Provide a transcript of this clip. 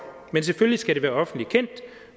men selvfølgelig skal det være offentligt kendt